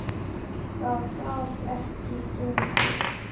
Það gat ekki gengið.